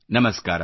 ನಮಸ್ಕಾರ